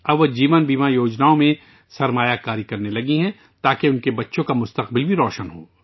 اب انھوں نے لائف انشورنس اسکیموں میں سرمایہ کاری شروع کر دی ہے، تاکہ ان کے بچوں کا مستقبل بھی روشن ہو